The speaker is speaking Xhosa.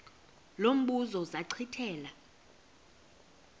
lo mbuzo zachithela